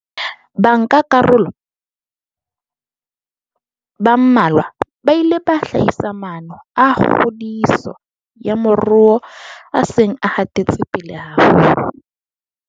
Bankakaroloba mmalwa ba ile ba hlahisa maano a kgodiso ya moruo a seng a hatetse pele haholo.